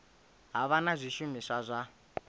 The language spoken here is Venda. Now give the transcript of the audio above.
ha vha na zwishumiswa zwa